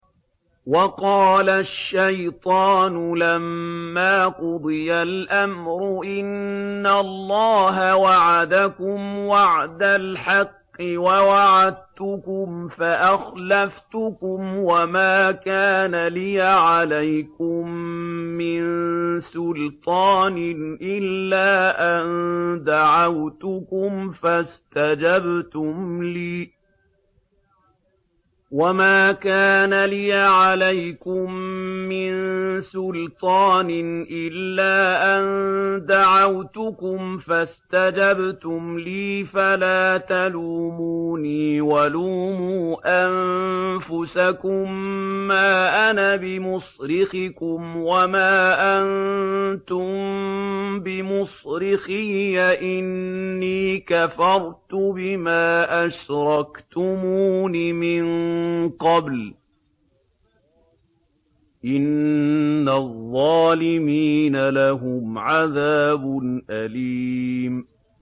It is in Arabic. وَقَالَ الشَّيْطَانُ لَمَّا قُضِيَ الْأَمْرُ إِنَّ اللَّهَ وَعَدَكُمْ وَعْدَ الْحَقِّ وَوَعَدتُّكُمْ فَأَخْلَفْتُكُمْ ۖ وَمَا كَانَ لِيَ عَلَيْكُم مِّن سُلْطَانٍ إِلَّا أَن دَعَوْتُكُمْ فَاسْتَجَبْتُمْ لِي ۖ فَلَا تَلُومُونِي وَلُومُوا أَنفُسَكُم ۖ مَّا أَنَا بِمُصْرِخِكُمْ وَمَا أَنتُم بِمُصْرِخِيَّ ۖ إِنِّي كَفَرْتُ بِمَا أَشْرَكْتُمُونِ مِن قَبْلُ ۗ إِنَّ الظَّالِمِينَ لَهُمْ عَذَابٌ أَلِيمٌ